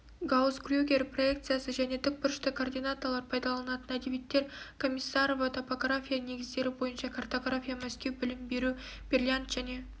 гаусс-крюгер проекциясы және тік бұрышты координаталар пайдаланылатын әдебиеттер комиссарова топография негіздері бойынша картография мәскеу білім беру берлянт және